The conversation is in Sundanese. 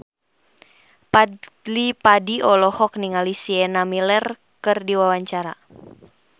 Fadly Padi olohok ningali Sienna Miller keur diwawancara